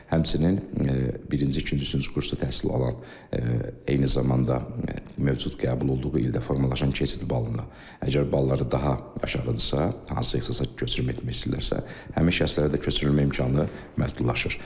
Həmçinin, birinci, ikinci, üçüncü kursu təhsil alan, eyni zamanda mövcud qəbul olduğu ildə formalaşan keçid balında, əgər balları daha aşağıdırsa, hansısa ixtisasa köçürülmək istəyirlərsə, həmin şəxslərə də köçürülmə imkanı məhdudlaşır.